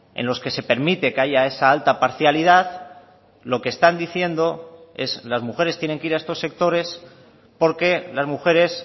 en los que se permite que haya esa alta parcialidad lo que están diciendo es las mujeres tienen que ir a estos sectores porque las mujeres